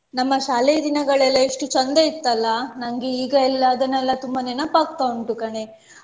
ನಮ್ಮ ಶಾಲೆ ದಿನಗಳೆಲ್ಲ ಎಷ್ಟು ಚಂದ ಇತ್ತಲ್ಲ ನಮ್ಗೆ ಈಗ ಎಲ್ಲ ಅದನ್ನೆಲ್ಲ ತುಂಬ ನೆನಪಾಗ್ತಾ ಉಂಟು ಕಣೆ